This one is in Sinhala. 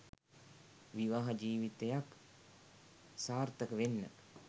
විවාහ ජිවිතයක් සාර්ථක වෙන්න